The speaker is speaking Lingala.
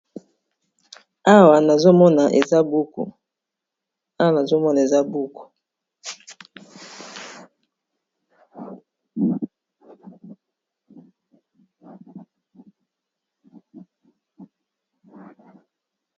Awa nazomona eza buku